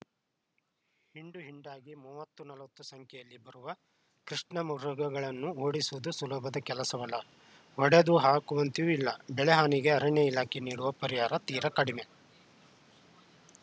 ಹಿಂಡು ಹಿಂಡಾಗಿ ಮೂವತ್ತು ನಲವತ್ತು ಸಂಖ್ಯೆಯಲ್ಲಿ ಬರುವ ಕೃಷ್ಣಮೃಗಗಳನ್ನು ಓಡಿಸುವುದು ಸುಲಭದ ಕೆಲಸವಲ್ಲ ಹೊಡೆದು ಹಾಕುವಂತೆಯೂ ಇಲ್ಲ ಬೆಳೆಹಾನಿಗೆ ಅರಣ್ಯ ಇಲಾಖೆ ನೀಡುವ ಪರಿಹಾರ ತೀರ ಕಡಿಮೆ